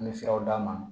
An bɛ siraw d'a ma